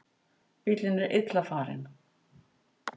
Bíllinn er illa farinn.